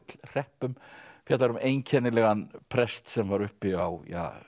Gullhreppum fjallar um einkennilegan prest sem var uppi á